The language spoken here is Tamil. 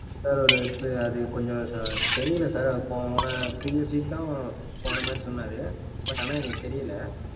sir ஒரு எப்டி அது கொஞ்சம் sir தெரியலே sir அப்பறம் போன previous week தான் போன மாதிரி சொன்னாரு. but ஆனா எனக்கு தெரியல.